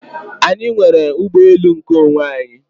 Anyị nwere ụgbọelu nkeonwe anyị.